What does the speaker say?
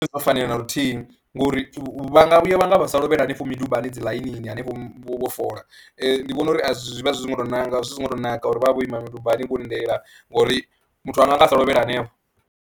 A zwo ngo fanela na luthihi ngori vha nga vhuya vha nga vha sa lovhela hanefho midubani dzi ḽainini hanefho vho foḽa, ndi vhona uri zwi vha zwi songo tou nanga zwi songo tou naka uri vha vhe vho ima midubani vho lindela ngori muthu a nga nga a sa lovhela hanefho.